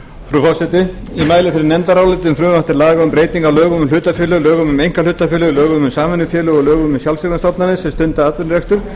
lögum um hlutafélög lögum um einkahlutafélög lögum um samvinnufélög og lögum um sjálfseignarstofnanir sem stunda atvinnurekstur